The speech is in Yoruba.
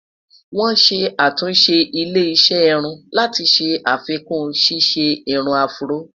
wòn ṣé àtúnṣe ilé iṣé irún láti ṣé àfikún ṣiṣẹ irún afro